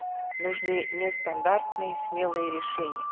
нужны нестандартные смелые решения